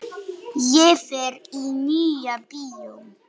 Og fer í Nýja bíó!